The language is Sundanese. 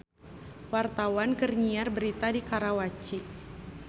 Wartawan keur nyiar berita di Karawaci